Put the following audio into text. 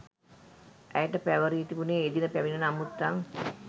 ඇයට පැවරී තිබුණේ එදින පැමිණෙන අමුත්තන්